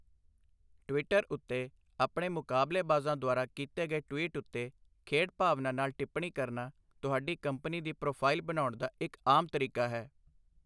Twitter ਉੱਤੇ, ਆਪਣੇ ਮੁਕਾਬਲੇਬਾਜ਼ਾਂ ਦੁਆਰਾ ਕੀਤੇ ਗਏ ਟਵੀਟ ਉੱਤੇ ਖੇਡ ਭਾਵਨਾ ਨਾਲ ਟਿੱਪਣੀ ਕਰਨਾ ਤੁਹਾਡੀ ਕੰਪਨੀ ਦੀ ਪ੍ਰੋਫਾਈਲ ਬਣਾਉਣ ਦਾ ਇੱਕ ਆਮ ਤਰੀਕਾ ਹੈ।